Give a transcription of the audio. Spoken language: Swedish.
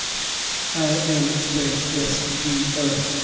Ä L V S J Ö